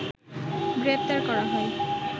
গ্রেপ্তার করা হয়